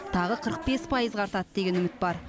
тағы қырық бес пайызға артады деген үміт бар